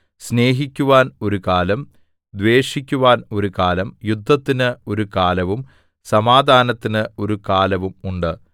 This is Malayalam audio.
സ്നേഹിക്കുവാൻ ഒരു കാലം ദ്വേഷിക്കുവാൻ ഒരു കാലം യുദ്ധത്തിന് ഒരു കാലവും സമാധാനത്തിന് ഒരു കാലവും ഉണ്ട്